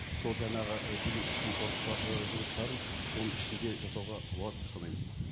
сол жаңағы і биллингтің і жұмыстарын соның ішінде жасауға болады деп санаймыз